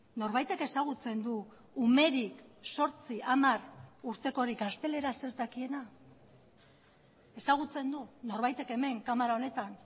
norbaitek ezagutzen du umerik zortzi hamar urtekorik gazteleraz ez dakiena ezagutzen du norbaitek hemen kamara honetan